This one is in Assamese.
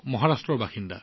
তেওঁৰ ঘৰ মহাৰাষ্ট্ৰত